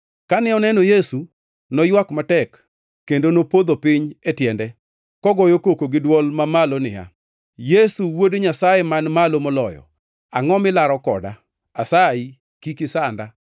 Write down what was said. Kane oneno Yesu, noywak matek kendo nopodho piny e tiende, kogoyo koko gi dwol mamalo niya, “Yesu Wuod Nyasaye Man Malo Moloyo, angʼo milaro koda? Asayi, kik isanda!”